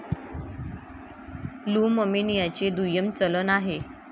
Loom अर्मेनियाचे दुय्यम चलन आहे.